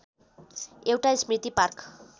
एउटा स्मृति पार्क